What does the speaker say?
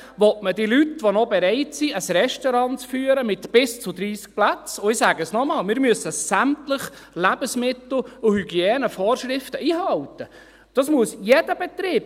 Will man den Leuten, die noch bereit sind, ein Restaurant mit bis zu 30 Plätzen zu führen, die noch innovativ und gewillt sind etwas zu tun, noch mehr Geld aus der Tasche ziehen?